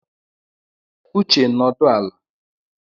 Uche, nọdụ ala!